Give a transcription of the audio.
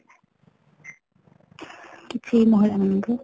କିଛି ମହିଳା ମାନ ଙ୍କୁ